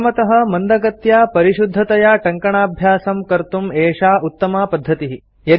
प्रथमतः मन्दगत्या परिशुद्धतया टङ्कणाभ्यासं कर्तुं एषा उत्तमा पद्धतिः